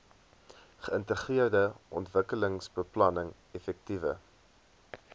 geïntegreerde ontwikkelingsbeplanning effektiewe